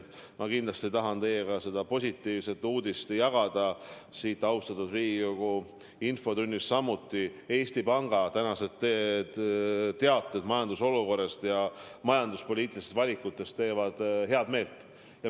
Ma kindlasti tahan teiega jagada seda positiivset uudist siin, austatud Riigikogu infotunnis, et Eesti Panga tänased teated majanduse olukorrast ja majanduspoliitilistest valikutest teevad head meelt.